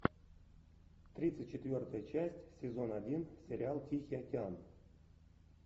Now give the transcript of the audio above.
тридцать четвертая часть сезон один сериал тихий океан